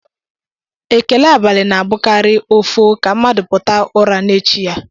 Ekele abalị na-abụkarị ọfọ ka mmadụ pụta ụra n'echi ya